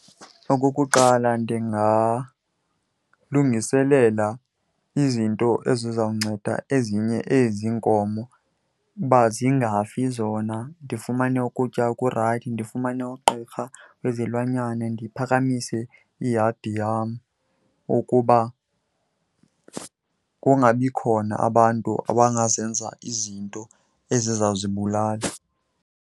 Okokuqala, ndingalungiselela izinto ezizawunceda ezinye ezi iinkomo uba zingafi zona. Ndifumane ukutya okurayithi, ndifumane ugqirha wezilwanyana, ndiphakamise iyadi yam ukuba kungabi khona abantu abangazenza izinto ezizawuzibulala.